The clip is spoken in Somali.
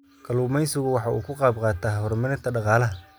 Kalluumaysigu waxa uu ka qayb qaataa horumarinta dhaqaalaha.